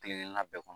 Kelen kelenna bɛɛ kɔnɔ